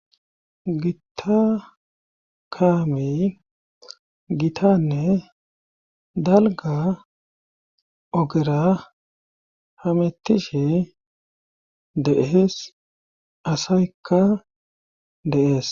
Git akaami gitanne dalga ogera hamettishe deees asaykka deees.